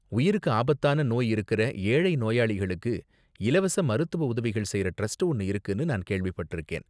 உயிருக்கு ஆபத்தான நோய் இருக்குற ஏழை நோயாளிகளுக்கு இலவச மருத்துவ உதவிகள் செய்யற டிரஸ்ட் ஒன்னு இருக்குனு நான் கேள்விப்பட்டிருக்கேன்.